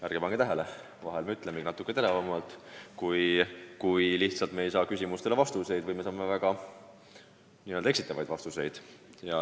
Ärge pange tähele – vahel me ütlemegi natukene teravamalt, kui ei saa küsimustele üldse vastuseid või saame väga eksitavaid vastuseid.